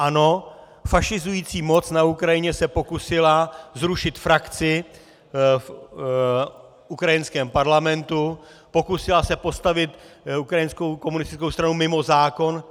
Ano, fašizující moc na Ukrajině se pokusila zrušit frakci v ukrajinském parlamentu, pokusila se postavit ukrajinskou komunistickou stranu mimo zákon.